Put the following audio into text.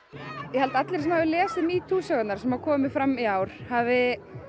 ég held að allir sem hafi lesið metoo sögurnar sem komu fram í ár hafi